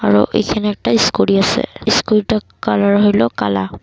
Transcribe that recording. আরও এইখানে একটা ইস্কুটি আসে ইস্কুটিটার কালার হইল কালা।